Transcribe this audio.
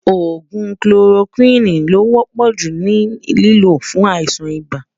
ògún kiloroquine ló wò pò jù ní lìló fún àìsàn ibà